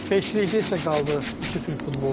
Beşlikdə isə qaldıq iki türk futbolçu.